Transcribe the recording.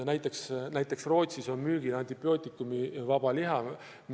Näiteks Rootsis on müügil antibiootikumivaba liha.